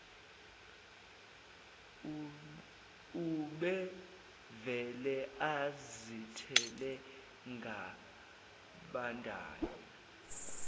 ubevele azithele ngabandayo